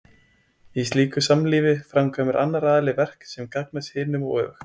í slíku samlífi framkvæmir annar aðilinn verk sem gagnast hinum og öfugt